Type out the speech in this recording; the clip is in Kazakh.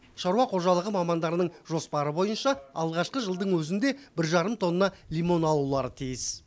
шаруа қожалығы мамандарының жоспары бойынша алғашқы жылдың өзінде бір жарым тонна лимон алулары тиіс